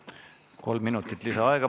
Kolm minutit lisaaega.